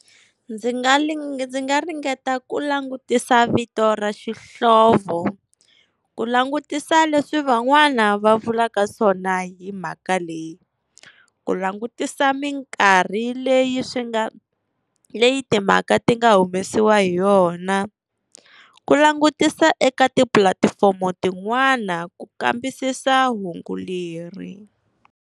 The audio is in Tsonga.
Ndzi nga ndzi nga ringeta ku langutisa vito ra xihlovo. Ku langutisa leswi van'wana va vulaka swona hi mhaka leyi, ku langutisa minkarhi leyi swi nga, leyi timhaka ti nga humesiwa hi yona, ku langutisa eka tipulatifomo tin'wana ku kambisisa hungu leri.